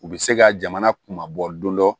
U bɛ se ka jamana kunbabɔ don dɔ